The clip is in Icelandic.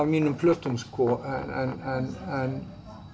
mínum plötum en